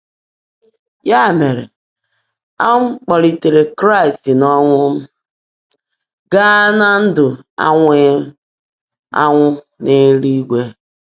Ya mere, a um kpọlitere Kraịst n'ọnwụ um gaa ná ndụ anwụghị um anwụ n'eluigwe.